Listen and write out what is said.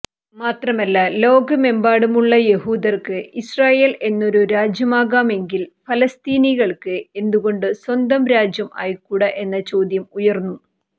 മാത്രമല്ല ലോകമെമ്പാടുമുള്ള യഹൂദർക്ക് ഇസ്രയേൽ എന്നൊരു രാജ്യമാകാമെങ്കിൽ ഫലസ്തീനികൾക്ക് എന്തുകൊണ്ട് സ്വന്തം രാജ്യം ആയിക്കൂടാ എന്ന ചോദ്യം ഉയർന്നു